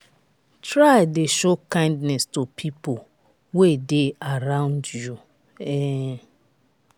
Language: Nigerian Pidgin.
try de show kindness to pipo wey de arround you um